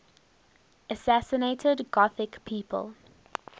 assassinated gothic people